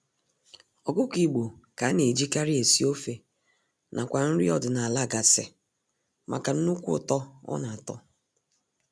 Ọkụkọ igbo ka a na-ejikarị esi ofe nakwa nri ọdịnaala gasị maka nnukwu ụtọ ọ na-atọ